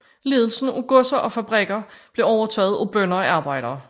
Ledelsen af godser og fabrikker blev overtaget af bønder og arbejdere